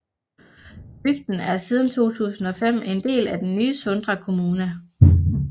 Bygden er siden 2005 en del af den nye Sunda kommuna